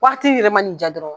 Wagati yɛrɛ ma na i ja dɔrɔn